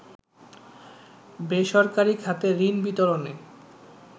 বেসরকারি খাতে ঋণ বিতরণে